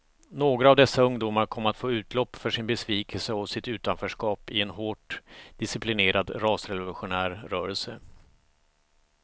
Några av dessa ungdomar kom att få utlopp för sin besvikelse och sitt utanförskap i en hårt disciplinerad rasrevolutionär rörelse.